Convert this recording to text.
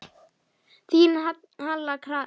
Þín Halla Katrín.